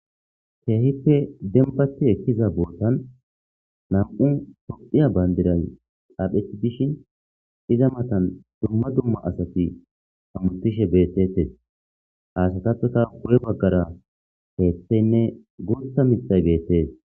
Keehippe dembati ekkiza bootan nam'u sopiya bayndiray xaphei dishin iza matan dumma dumma asati hammutishe beettetes aasatapeta gu'e baggara keeththeynne guutha mixay beettees.